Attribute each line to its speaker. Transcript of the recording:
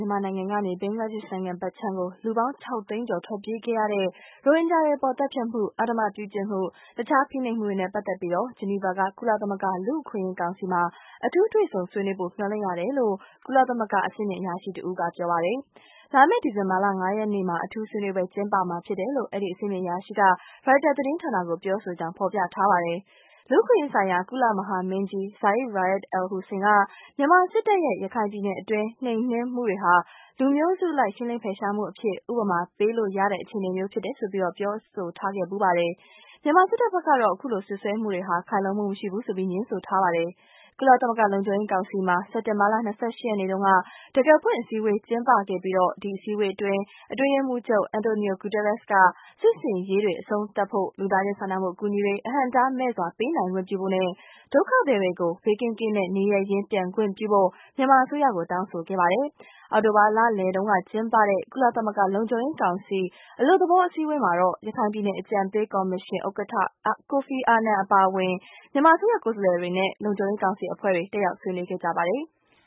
Speaker 1: ြန်မာနိုင်ငံကနေ ဘင်္ဂလားဒေ့ရှ်နိုင်ငံဖက်ခြမ်းကို လူပေါင်း ၆ သိန်းကျော်ထွက်ပြေးခဲ့ရတဲ့ရိုဟင်ဂျာတွေအပေါ် သတ်ဖြတ်မှု၊ အဓမ္မပြုကျင့်မှု၊ တခြားဖိနှိပ်မှုတွေနဲ့ ပတ်သက်ပြီး ဂျီနီဗာက ကုလသမဂ္ဂလူ့အခွင့်အရေး ကောင်စီမှာ အထူးတွေ့ဆုံဆွေးနွေးဖို့ မျှော်လင့်ရတယ်လို့ ကုလသမဂ္ဂက အဆင့်မြင့် အရာရှိတဦးက ပြောပါတယ်။ လာမယ့် ဒီဇင်ဘာ ၅ ရက်နေ့မှာ အထူးဆွေးနွေးပွဲ ကျင်းပသွားမှာဖြစ်တယ်လို့ အဲဒီ အဆင့်မြင့် အရာရှိက ရိုက်တာသတင်းဌာနကို ပြောဆိုကြောင်း ဖေါ်ပြထားပါတယ်။ လူ့အခွင့်အရေးဆိုင်ရာ ကုလမဟာမင်းကြီး Zeid Ra’ad al-Hussein ကမြန်မာစစ်တပ်ရဲ့ ရခိုင်ပြည်နယ်အတွင်း နှိမ်နင်းမှုတွေဟာ လူမျိုးစုအလိုက် ရှင်းလင်းဖယ်ရှားမှုအဖြစ် ဥပမာပေးလို့ရတဲ့ အခြေအနေမျိုးဖြစ်တယ်ဆိုပြီး ပြောဆိုထားခဲ့ဘူးပါတယ်။ မြန်မာစစ်တပ်ဖက်ကတော့ အခုလို စွပ်စွဲမှုတွေဟာ ခိုင်လုံမှုမရှိဘူးဆိုပြီး ငြင်းဆိုထားပါတယ်။ ကုလသမဂ္ဂလုံခြုံရေးကောင်စီမှာ စက်တင်ဘာ လ ၂၈ ရက်နေ့တုန်းကတံခါးဖွင့်အစည်းအဝေး ကျင်းပခဲ့ပြီးဒီအစည်းအဝေးအတွင်း အတွင်းရေးမှူးချုပ် Antonio Guterres က စစ်ဆင်ရေးတွေတွေ အဆုံးသတ်ဖို့၊ လူသားချင်းစာနာမှု အကူအညီတွေအဟန့်အတားမဲ့စွာ ပေးနိုင်ခွင့်ပြုဖို့နဲ့ ဒုက္ခသည်တွေကို ဘေးကင်းကင်းနဲ့ နေရင်းရင်း ပြန်ခွင့်ပြုဖို့ မြန်မာအစိုးရကို တောင်းဆိုခဲ့ပါတယ်။ အောက်တိုဘာလလယ်ပိုင်းတုန်းကျင်းပတဲ့ ကုလသမဂ္ဂလုံခြုံရေးကောင်စီ အလွတ်သဘောအစည်းအဝေးမှာတော့ ရခိုင်ပြည်နယ်အကြံပေး ကော်မရှင်ဥက္ကဋ္ဌ Kofi Annan အပါအဝင် မြန်မာ အစိုးရကိုယ်စားလှယ်တွေနဲ့
Speaker 2: လုံခြုံရေးကောင်စီအဖွဲ့ဝင်တွေ တက်ရောက်ဆွေးနွေးကြပါတယ်။